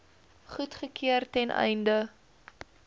goedgekeur ten einde